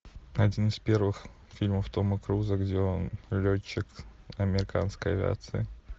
один из первых фильмов тома круза где он летчик американской авиации